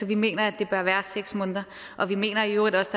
vi mener at det bør være seks måneder og vi mener i øvrigt også